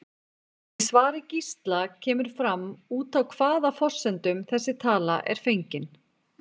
Í svari Gísla kemur fram út frá hvaða forsendum þessi tala er fengin.